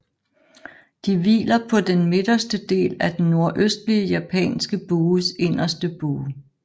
De hviler på den midterste del af den Nordøstlige japanske bues inderste bue